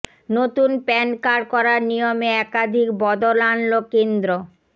নতুন PAN card করার নিয়মে একাধিক বদল আনল কেন্দ্র